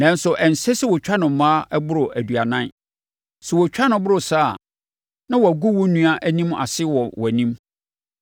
Nanso, ɛnsɛ sɛ wɔtwa no mmaa boro aduanan. Sɛ wɔtwa no boro saa a, na wɔagu wo nua anim ase wɔ wʼanim.